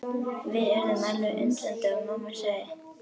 Við urðum alveg undrandi og mamma sagði.